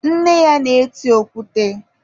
nne ya na-eti okwute.